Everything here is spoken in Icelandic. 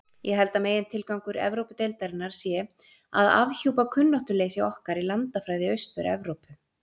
Ég held að megintilgangur Evrópudeildarinnar sé að afhjúpa kunnáttuleysi okkar í landafræði Austur-Evrópu.